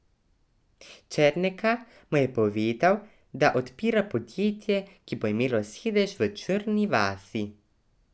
Černeka mu je povedal, da odpira podjetje, ki bo imelo sedež v Črni vasi.